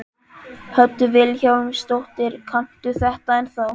Hödd Vilhjálmsdóttir: Kanntu þetta ennþá?